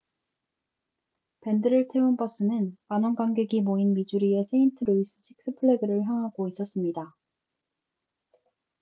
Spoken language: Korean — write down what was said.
밴드를 태운 버스는 만원 관객이 모인 미주리의 세인트 루이스 식스 플래그를 향하고 있었습니다